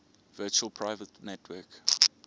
virtual private network